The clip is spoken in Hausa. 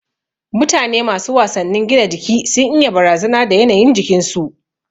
Mutane masu wasannin gina jiki sun iya barazana da yanayin jikin su